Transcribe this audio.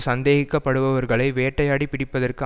சந்தேகிக்க படுபவர்களை வேட்டையாடிப் பிடிப்பதற்கு